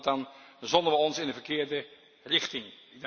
Want dan zonnen wij ons in de verkeerde richting.